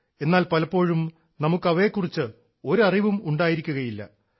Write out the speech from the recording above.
എന്നാൽ പലപ്പോഴും നമുക്ക് അവയെ കുറിച്ച് ഒരറിവും ഉണ്ടായിരിക്കില്ല